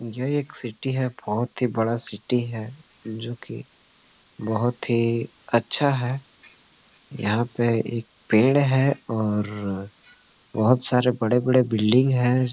यह एक सिटी है बहुत ही बड़ा सिटी है जो कि बहुत ही अच्छा है यहाँ पे एक पेड़ है और बहुत सारे बड़े-बड़े बिल्डिंग हैं।